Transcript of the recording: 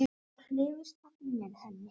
Það hrifust allir með henni.